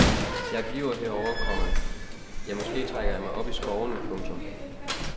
Jeg bliver herovre, komma ja måske trækker jeg mig op i skovene. punktum